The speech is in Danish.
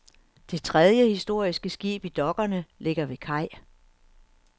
Det tredje historiske skib i dokkerne ligger ved kaj.